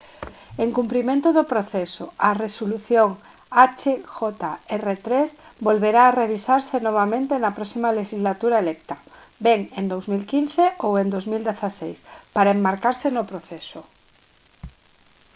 en cumprimento do proceso a resolución hjr-3 volverá a revisarse novamente na próxima lexislatura electa ben en 2015 ou en 2016 para enmarcarse no proceso